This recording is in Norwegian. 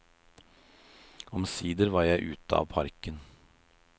Omsider var jeg ute av parken.